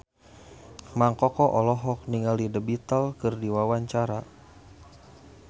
Mang Koko olohok ningali The Beatles keur diwawancara